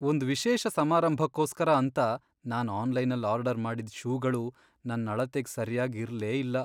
ಒಂದ್ ವಿಶೇಷ ಸಮಾರಂಭಕ್ಕೋಸ್ಕರ ಅಂತ ನಾನ್ ಆನ್ಲೈನಲ್ ಆರ್ಡರ್ ಮಾಡಿದ್ ಷೂಗಳು ನನ್ ಅಳತೆಗ್ ಸರ್ಯಾಗ್ ಇರ್ಲೇಇಲ್ಲ.